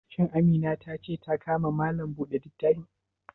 Shin Amina ta ce ta ka ma Malam buɗe littafi?